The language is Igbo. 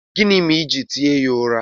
Gịnị mere i ji tie ya ụra?